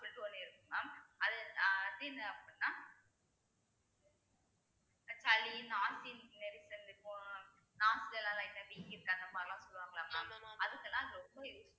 அப்படின்னிட்டு ஒண்ணு இருக்கு mam அது அது என்ன அப்படின்னா சளி இப்போ light அ வீங்கிருக்கு அந்த மாதிரி எல்லாம் சொல்லுவாங்கல்ல mam அதுக்கெல்லாம் இது ரொம்ப use~